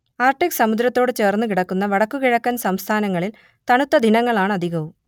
Arctic സമുദ്രത്തോടു ചേർന്നുകിടക്കുന്ന വടക്കു കിഴക്കൻ സംസ്ഥാനങ്ങളിൽ തണുത്ത ദിനങ്ങളാണധികവും